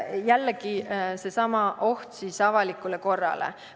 Jällegi, oht avalikule korrale.